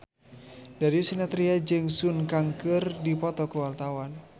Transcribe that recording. Darius Sinathrya jeung Sun Kang keur dipoto ku wartawan